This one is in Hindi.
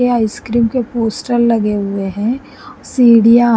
ये आइसक्रीम के पोस्टर लगे हुए हैं सीढ़ियाँ --